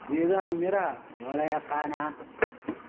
Geedaha miraha waa la yaqaan.